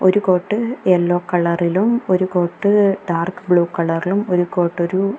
ഒരു coat yellow കളറിലും ഒരു കോട്ട് ഡാർക്ക് ബ്ലൂ കളറിലും ഒരു കോട്ട് ഒരു --